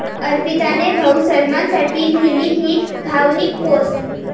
अर्पिताने भाऊ सलमानसाठी लिहिली 'ही' भावनिक पोस्ट!